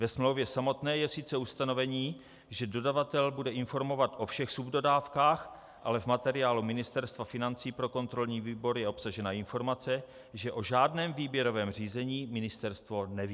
Ve smlouvě samotné je sice ustanovení, že dodavatel bude informovat o všech subdodávkách, ale v materiálu Ministerstva financí pro kontrolní výbor je obsažena informace, že o žádném výběrovém řízení ministerstvo neví.